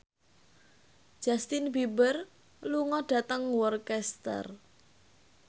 Justin Beiber lunga dhateng Worcester